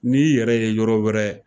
N'i y'i yɛrɛ ye yɔrɔ wɛrɛ